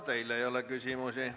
Teile ei ole küsimusi.